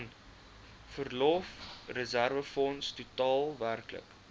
verlofreserwefonds totaal werklik